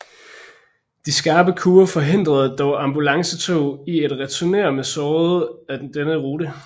De skarpe kurver forhindrede dog ambulancetog i at returnere med sårede ad denne rute